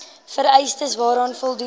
vereistes waaraan voldoen